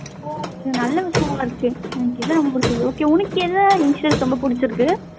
நல்ல விஷயமா இருக்கு okay உனக்கு என்ன insurance ரொம்ப பிடிச்சிருக்கு?